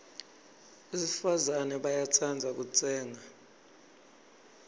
besifazana bayatsandza kutsenga